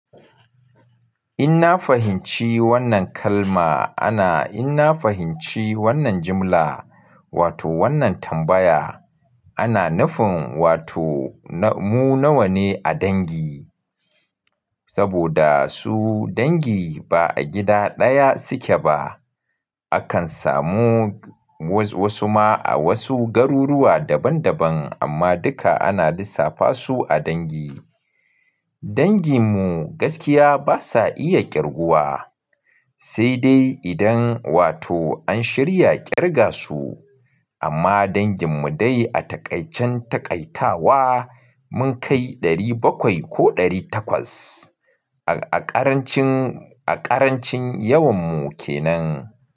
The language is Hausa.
In na fahimci wannan kalma ana, in na fahimci wannan jimla wato wannan tambaya, ana nufin wato mu nawa ne a dangi? Saboda su dangi ba a gida ɗaya suke ba. Akan samu wasu ma a wasu garuruwa daban daban amma duka ana lissafa su a dangi. Dangin mu gaskiya basa iya ƙirguwa, sai dai idan wato an shirya ƙirga su. Amma dangin mu dai a taƙaicin taƙaitawa mun kai ɗari bakwai ko ɗari takwas a ƙarancin, a ƙarancin yawan mu ke nan.